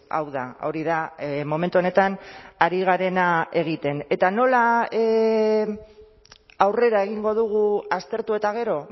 hau da hori da momentu honetan ari garena egiten eta nola aurrera egingo dugu aztertu eta gero